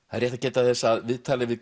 það er rétt að geta þess að viðtalið við